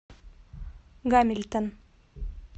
гамильтон